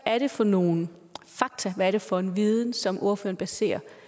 er det for nogle fakta hvad er det for en viden som ordføreren baserer